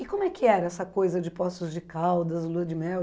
E como é que era essa coisa de Poços de Caldas, Lua de Mel?